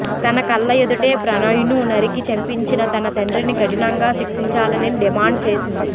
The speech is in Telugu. తన కళ్ల ఎదుటే ప్రణయ్ను నరికి చంపించిన తన తండ్రిని కఠినంగా శిక్షించాలని డిమాండ్ చేసింది